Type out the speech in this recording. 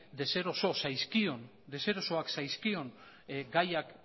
deserosoak zaizkion gaiak